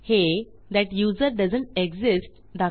हे that user doesn't exists